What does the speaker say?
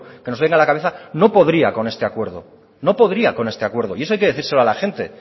que nos venga a la cabeza no podría con este acuerdo no podría con este acuerdo y eso hay que decírselo a la gente